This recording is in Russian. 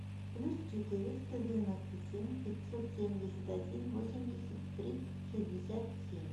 плюс четыреста девяносто семь пятьсот семьдесят один восемьдесят три шестьдесят семь